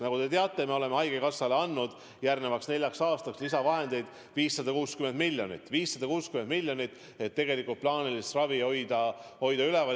Nagu te teate, me oleme haigekassale andnud järgmiseks neljaks aastaks lisavahendeid 560 miljonit, et plaanilist ravi üleval hoida.